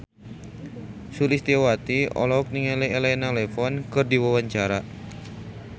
Sulistyowati olohok ningali Elena Levon keur diwawancara